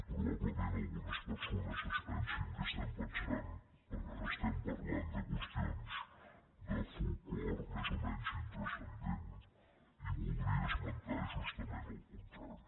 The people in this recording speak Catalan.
probablement algunes persones es pensin que estem parlant de qües·tions de folklore més o menys intranscendent i vol·dria esmentar justament el contrari